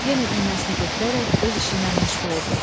Yenə iynəsini götürərək öz işiylə məşğul oldu.